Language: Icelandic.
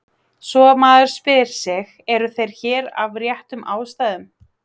Svo maður spyr sig: eru þeir hér af réttum ástæðum?